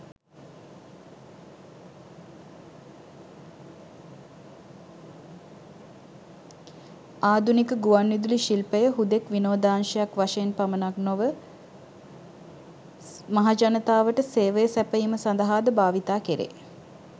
ආධුනික ගුවන් විදුලි ශිල්පය හුදෙක් විනෝදාංශයක් වශයෙන් පමණක් නොව මහජනතාවට සේවය සැපයීම සඳහාද භාවිතා කෙරේ.